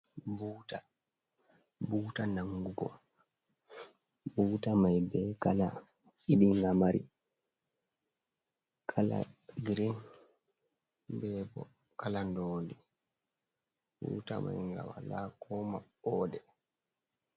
Buta nangugo buta mai be kala ɗiɗi nga mari, kala grin bebo kala ndondi, buta mai nga wala ko maɓɓode.